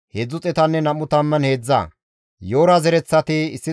Naxoofe katama asati 56,